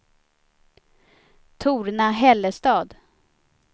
Torna-Hällestad